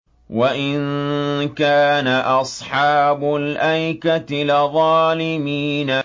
وَإِن كَانَ أَصْحَابُ الْأَيْكَةِ لَظَالِمِينَ